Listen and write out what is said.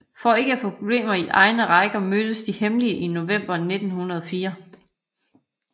For ikke at få problemer i egne rækker mødtes de hemmeligt i november 1904